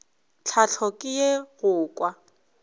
tlhahlo ke ye go kwa